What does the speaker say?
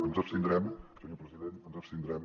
ens abstindrem senyor president ens abstindrem